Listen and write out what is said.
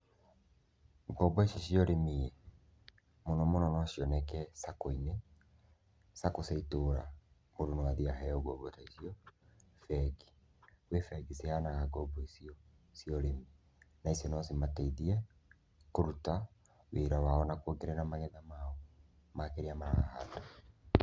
Ngombo ici cia ũrĩmi ĩĩ, mũno mũno no cioneke Sacco-inĩ; Sacco cia itũra mũndũ no athiĩ aheo ngombo ta icio, bengi. Kwĩ bengi ciheanaga ngombo icio cia ũrĩmi. Na icio no cimateithie kũruta wĩra wao na kwongerera magetha mao ma kĩrĩa marahanda.